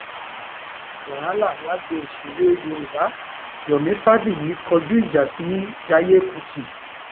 wàhálà lágbo òṣèré yorùbá yomi rabiyi kọjú ìjà sí jaiye kùtì